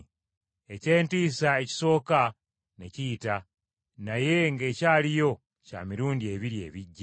Eky’entiisa ekisooka ne kiyita, naye ng’ekyaliyo bya mirundi ebiri ebijja!